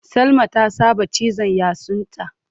Salma ta saba cizan yatsunta.